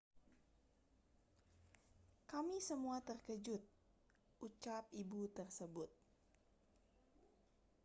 kami semua terkejut ucap ibu tersebut